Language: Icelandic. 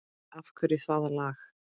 Af hverju það lag?